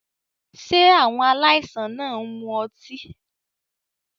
Ṣé àwọn aláìsàn náà ń mu ọtí?